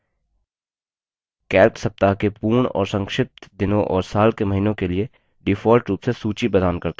calc सप्ताह के पूर्ण और संक्षिप्त दिनों और साल के महीनों के लिए default रूप से सूची प्रदान करता है